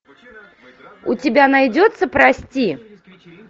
у тебя найдется прости